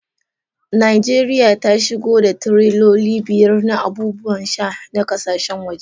Najeriya ta shigo da tireloli biyar na abubuwan sha na kasashen waje.